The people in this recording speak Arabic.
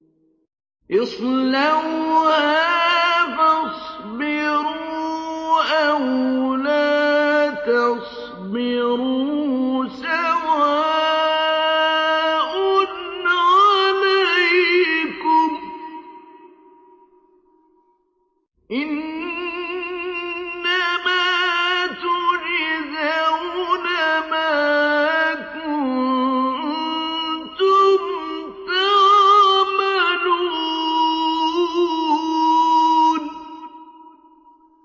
اصْلَوْهَا فَاصْبِرُوا أَوْ لَا تَصْبِرُوا سَوَاءٌ عَلَيْكُمْ ۖ إِنَّمَا تُجْزَوْنَ مَا كُنتُمْ تَعْمَلُونَ